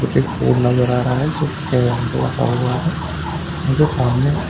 मुझे एक कोड नज़र आ रहा है जो कैम्प लगा हुआ है मुझे सामने कुछ--